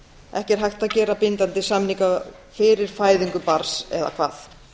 ekki er hægt að gera bindandi samninga fyrir fæðingu barns eða hvað